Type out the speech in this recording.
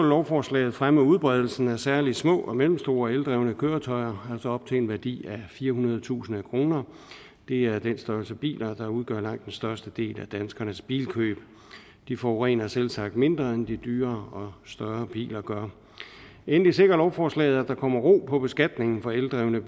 lovforslaget fremme udbredelsen af særlig små og mellemstore eldrevne køretøjer altså op til en værdi af firehundredetusind kroner det er den størrelse biler der udgør langt den største del af danskernes bilkøb de forurener selvsagt mindre end de dyrere og større biler gør endelig sikrer lovforslaget at der kommer ro på beskatningen for eldrevne